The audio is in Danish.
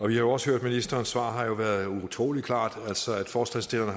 vi har også hørt ministerens svar det har været utrolig klart at forslagsstillerne